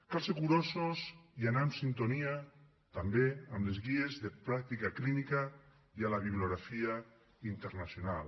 cal ser curosos i anar en sintonia també amb les guies de pràctica clínica i amb la bibliografia internacional